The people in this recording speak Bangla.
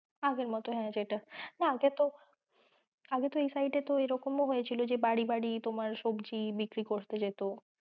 আগের মতো হ্যাঁ সেটাই। না আগে তো এই side এ তো ওইরকম ও হয়েছিল যে বাড়ি বাড়ি তোমার সবজি বিক্রি করতে যেত।